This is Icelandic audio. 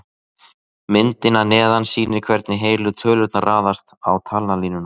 Myndin að neðan sýnir hvernig heilu tölurnar raðast á talnalínuna.